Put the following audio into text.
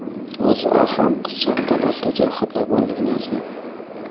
O‘zA ham qizchaning tanasida jarohatlar borligini yozgan.